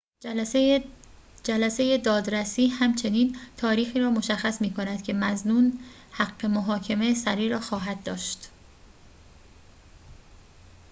جلسه دادرسی همچنین تاریخی را مشخص می‌کند که مظنون حق محاکمه سریع را خواهد داشت